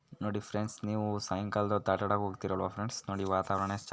ನೋಡಿ ಫ್ರೆಂಡ್ಸ್ ನೀವು ಸಾಯಂಕಾಲ ಹೊತ್ತು ಆಟ ಆಡೋಕೆ ಹೋಗುತ್ತೀರಲ್ಲ ಫ್ರೆಂಡ್ಸ್ ನೋಡಿ ವಾತಾವರಣ